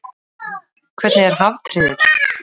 Hvernig er haftyrðill?